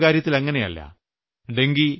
എന്നാൽ ഡെങ്കിയുടെ കാര്യത്തിൽ അങ്ങിനെയല്ല